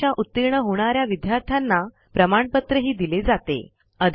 परीक्षा उतीर्ण होणा या विद्यार्थ्यांना प्रमाणपत्रही दिले जाते